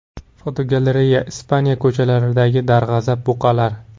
Fotogalereya: Ispaniya ko‘chalaridagi darg‘azab buqalar.